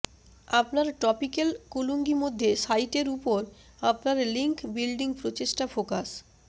আপনার টপিক্যাল কুলুঙ্গি মধ্যে সাইটের উপর আপনার লিঙ্ক বিল্ডিং প্রচেষ্টা ফোকাস